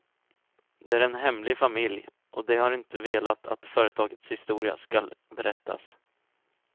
Det är en hemlig familj, och de har inte velat att företagets historia skall berättas.